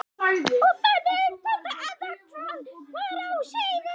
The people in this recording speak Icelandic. Og þannig uppgötvaði Anna hvað var á seyði.